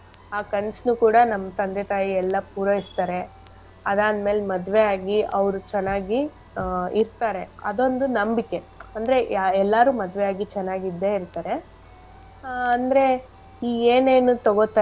ಆ ಕನ್ಸ್ನು ಕೂಡ ನಮ್ ತಂದೆ ತಾಯಿ ಎಲ್ಲಾ ಪೂರೈಸ್ತಾರೆ ಅದ್ ಆದ್ಮೇಲ್ ಮದ್ವೆ ಆಗಿ ಅವ್ರ್ ಚೆನ್ನಾಗಿ ಆ ಇರ್ತಾರೆ ಅದೊಂದು ನಂಬಿಕೆ ಅಂದ್ರೆ ಯಾ~ ಎಲ್ಲಾರು ಮದ್ವೆ ಆಗಿ ಚೆನ್ನಾಗಿದ್ದೆ ಇರ್ತಾರೆ ಆ ಅಂದ್ರೆ ಈ ಏನೇನ್ ತೊಗೊತಾರೆ.